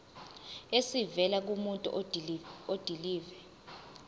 esivela kumuntu odilive